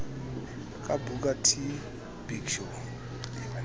ka booker t big show